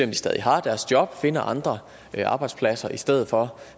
de stadig har deres job og finder andre arbejdspladser i stedet for